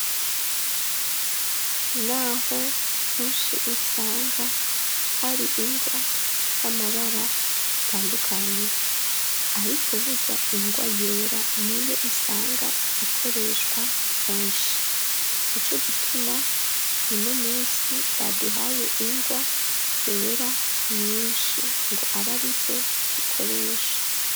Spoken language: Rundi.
Naho kenshi usanga hari ingwa z'amabara atandukanye, ariko burya ingwa yera niyo usanga ikoreshwa kenshi ni co gituma muno musi baduhaye ingwa bera nyinshi ngo aba ari zo dukoresha.